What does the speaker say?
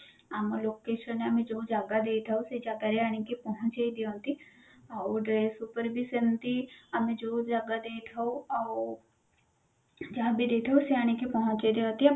ଆମ location ଆମେ ଯୋଉ ଜାଗା ଦେଇଥାଉ ସେ ଜାଗାରେ ଆଣିକି ପହଞ୍ଚେଇ ଦିଅନ୍ତି ଆଉ ଗୋଟେ ବି ସେମତି ଆମେ ଯୋଉ ଜାଗା ଦେଇ ଥାଉ ଆଉ ଯାହାବି ଦେଇଥାଉ ସେ ଆଣିକି ପହଞ୍ଚେଇ ଦିଅନ୍ତି